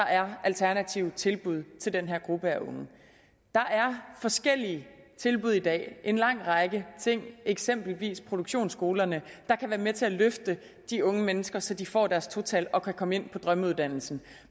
er alternative tilbud til den her gruppe af unge der er forskellige tilbud i dag en lang række ting eksempelvis produktionsskolerne der kan være med til at løfte de unge mennesker så de får deres to tal og kan komme ind på drømmeuddannelsen